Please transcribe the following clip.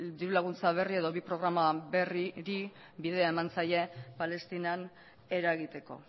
diru laguntza berri edo bi programa berriri bidea eman zaie palestinan eragiteko